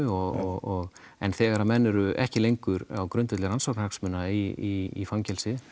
og en þegar að menn eru ekki lengur á grundvelli rannsóknarhagsmuna í fangelsi